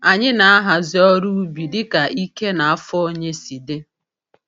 Anyị na-ahazi ọrụ ubi dịka ike na afọ onye si dị.